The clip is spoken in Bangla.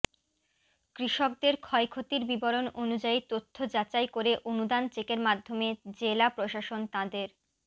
কৃষকদের ক্ষয়ক্ষতির বিবরণ অনুযায়ী তথ্য যাচাই করে অনুদান চেকের মাধ্যমে জেলা প্রশাসন তঁাদের